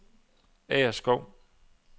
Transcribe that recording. Agerskov